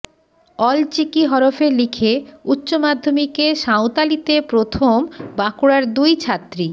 অলচিকি হরফে লিখে উচ্চ মাধ্যমিকে সাঁওতালিতে প্রথম বাঁকুড়ার দুই ছাত্রী